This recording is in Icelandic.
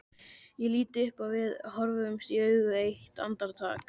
Ég lít upp og við horfumst í augu eitt andartak.